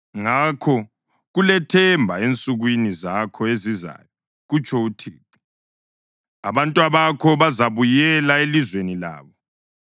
Ngakho kulethemba ensukwini zakho ezizayo,” kutsho uThixo. “Abantwabakho bazabuyela elizweni labo.